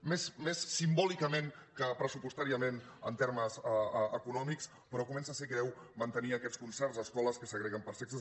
més simbòlicament que pressupostàriament en termes econòmics però comença a ser greu mantenir aquests concerts a escoles que segreguen per sexes